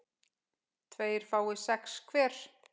tveir fái sex hver